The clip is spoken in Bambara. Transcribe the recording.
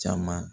Caman